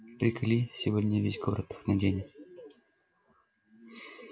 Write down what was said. приколи сегодня весь город их наденет